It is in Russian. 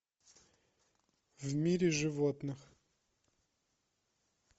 в мире животных